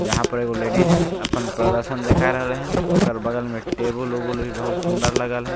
यहां पर एगो लेडीज अपन प्रदर्शन देखा रहले हन ओकर बगल मे टेबुल उबुल भी बहुत सुंदर लगल हेय।